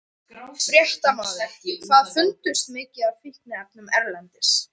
Fréttamaður: Hvað fundust mikið af fíkniefnum erlendis?